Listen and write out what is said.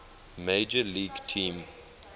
major league team